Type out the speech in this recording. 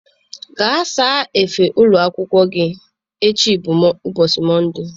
Gaa saa efe ụlọ akwụkwọ gị, echi bụ ubochi Mọnde.